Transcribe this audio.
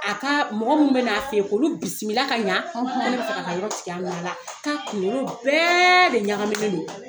A ka mɔgɔ minnu bɛ n'a fɛ yen k'olu bisimila ka ɲɛ. K'olu bɛ fɛ ka taa yɔrɔ tigiya minɛ a la. K'a kunkolo bɛɛ de ɲagaminen don.